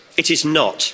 It is not.